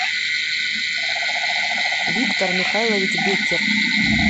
виктор михайлович беккер